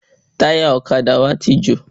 Táyà ọ̀kadà wa ti jò